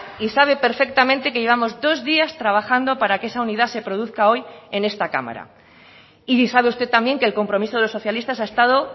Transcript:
y sabe perfectamente que llevamos dos días trabajando para que esa unidad se produzca hoy en esta cámara y sabe usted también que el compromiso de los socialistas ha estado